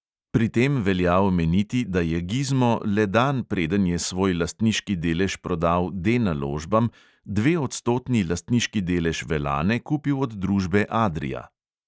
Pri tem velja omeniti, da je gizmo le dan, preden je svoj lastniški delež prodal D naložbam, dveodstotni lastniški delež velane kupil od družbe adria.